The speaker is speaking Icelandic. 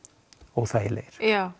óþægilegir